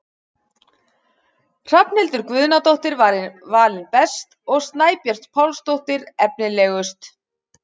Hrafnhildur Guðnadóttir var valin best og Snæbjört Pálsdóttir efnilegust.